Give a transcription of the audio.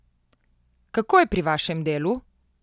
Kako je pri vašem delu?